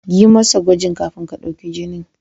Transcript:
Yi masa gwajin kafin ka ɗauki jinin.